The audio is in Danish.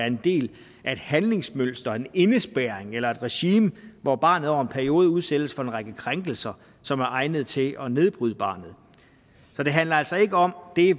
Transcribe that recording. en del af et handlingsmønster en indespærring eller et regime hvor barnet over en periode udsættes for en række krænkelser som er egnet til at nedbryde barnet så det handler altså ikke om det